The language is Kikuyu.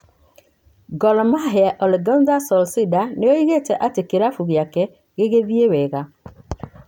Gor Mahia: Ole Gunther Solsder nĩ oigĩte atĩ kĩlafu gĩake 'gĩgĩthie wega'